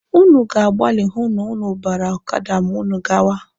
Ụnụ ga-agbali hụ na ụnụ bara ọkada ma ụnụ gawa.